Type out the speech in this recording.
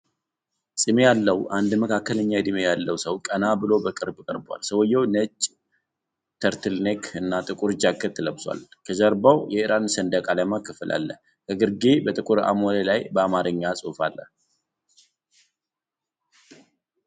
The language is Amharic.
ፂም ያለው አንድ መካከለኛ ዕድሜ ያለው ሰው ቀና ብሎ በቅርብ ቀርቧል። ሰውየው ነጭ turtleneck እና ጥቁር ጃኬት ለብሷል። ከጀርባው የኢራን ሰንደቅ ዓላማ ክፍል አለ። ከግርጌ በጥቁር አሞሌ ላይ በአማርኛ ጽሑፍ አለ።